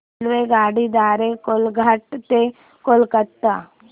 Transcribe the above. रेल्वेगाडी द्वारे कोलाघाट ते कोलकता